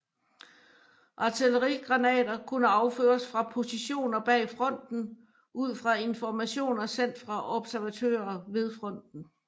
Artillerigranater kunne affyres fra positioner bag fronten ud fra informationer sendt fra observatører ved fronten